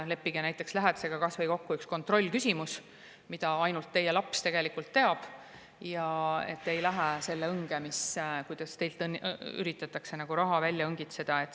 Leppige näiteks lähedastega kokku kas või üks kontrollküsimus, mida ainult teie laps teab, et te ei läheks selle õnge, kui teilt üritatakse raha välja õngitseda.